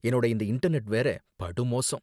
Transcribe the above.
என்னோட இந்த இன்டர்நெட் வேற, படு மோசம்.